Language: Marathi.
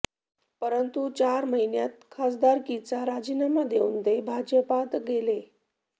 परंतु चार महिन्यात खासदारकीचा राजीनामा देऊन ते भाजपत गेले